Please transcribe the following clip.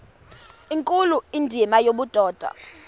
nkulu indima yobudoda